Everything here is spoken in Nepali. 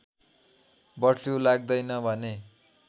बर्डफ्लु लाग्दैन भने